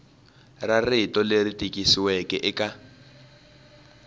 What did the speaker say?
ra rito leri tikisiweke eka